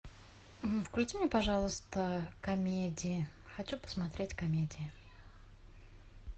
включи мне пожалуйста комедии хочу посмотреть комедии